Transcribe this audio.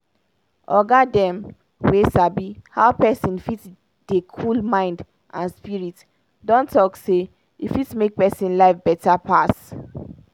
oga dem wey sabi how pesin fit dey cool mind and spirit don talk say e fit make pesin life beta pass.